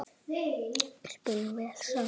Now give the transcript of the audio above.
Spilum vel saman.